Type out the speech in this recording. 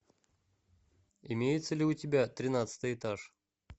имеется ли у тебя тринадцатый этаж